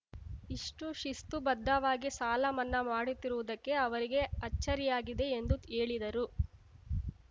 ಇಷ್ಟುಶಿಸ್ತು ಬದ್ಧವಾಗಿ ಸಾಲ ಮನ್ನಾ ಮಾಡುತ್ತಿರುವುದಕ್ಕೆ ಅವರಿಗೆ ಅಚ್ಚರಿಯಾಗಿದೆ ಎಂದು ಹೇಳಿದರು